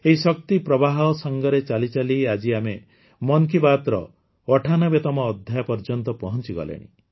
ଏହି ଶକ୍ତି ପ୍ରବାହ ସାଙ୍ଗରେ ଚାଲିଚାଲି ଆଜି ଆମେ ମନ୍ କି ବାତ୍ର ୯୮ତମ ଅଧ୍ୟାୟ ପର୍ଯ୍ୟନ୍ତ ପହଂଚିଗଲେଣି